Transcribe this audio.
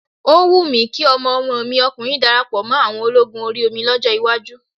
Ó wù mí kí ọmọ ọmọ mi ọkùnrin darapọ̀ mọ́ àwọn ológun orí omi lọ́jọ́ iwájú.